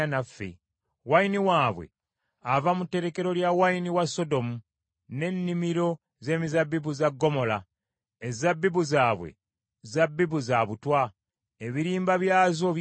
Wayini waabwe ava mu terekero lya wayini wa Sodomu, n’ennimiro z’emizabbibu za Ggomola; ezzabbibu zaabwe zabbibu za butwa, ebirimba byazo bikaawa;